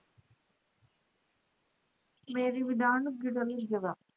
ਮੇਰੀ ਵੀ ਦਾੜ ਨੂੰ ਕੀੜਾ ਲੱਗਿਆ